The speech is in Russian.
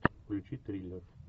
включи триллер